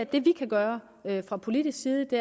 vi kan gøre fra politisk side det